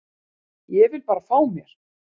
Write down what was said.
Ég vil bara fá mér.